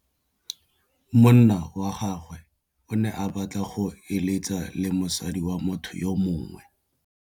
Monna wa gagwe o ne a batla go êlêtsa le mosadi wa motho yo mongwe.